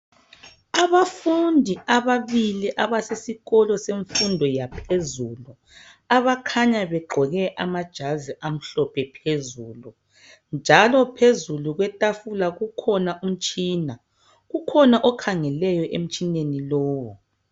Abafundi ababili abasesikolo semfundo yaphezulu abakhanya begqoke amajazi amhlophe phezulu, njalo phezu kwetafula kukhona umtshina. Kukhona okhangeleyo emitshineni lowo.